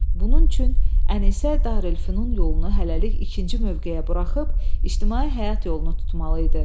Bunun üçün Ənisə Darülfünun yolunu hələlik ikinci mövqeyə buraxıb ictimai həyat yolunu tutmalı idi.